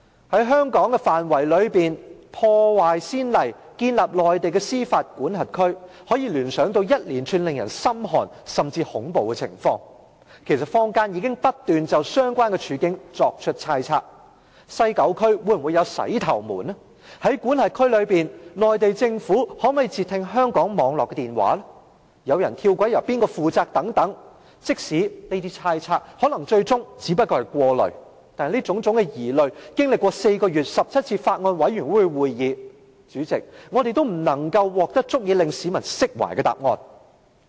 在香港範圍內破壞先例，建立內地的司法管轄區，可以聯想到一連串令人感到心寒甚至恐怖的情況，其實坊間已不斷就相關處境作出猜測：西九區內會否出現"洗頭門"、在管轄區內中國政府可否截聽香港網絡的電話、有人跳軌由誰負責等，即使這些猜測可能最終只不過是過慮，但這種種疑慮，經歷4個月17次法案委員會會議後，代理主席，我們仍未能獲得足以令市民釋懷的答案。